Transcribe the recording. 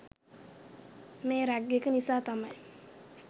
මේ රැග් එක නිසා තමයි